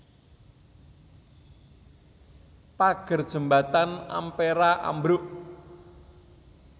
Pager jembatan Ampera ambruk